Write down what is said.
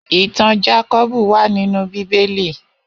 Itàn Jákòbú wà ninú Bibéli